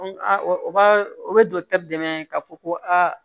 O b'a o bɛ dɔkitɛri dɛmɛ k'a fɔ ko aa